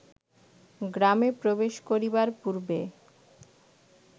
গ্রামে প্রবেশ করিবার পূর্বে